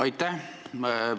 Aitäh!